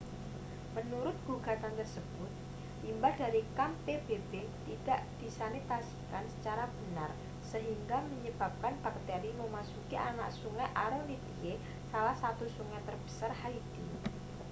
menurut gugatan tersebut limbah dari kamp pbb tidak disanitasikan secara benar sehingga menyebabkan bakteri memasuki anak sungai aronitie salah satu sungai terbesar haiti